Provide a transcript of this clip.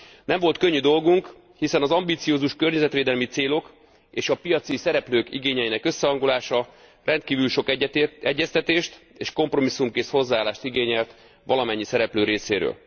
Nem volt könnyű dolgunk, hiszen az ambiciózus környezetvédelmi célok, és a piaci szereplők igényeinek összehangolása rendkívül sok egyeztetést, és kompromisszumkész hozzáállást igényelt valamennyi szereplő részéről.